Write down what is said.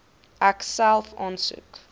ek self aansoek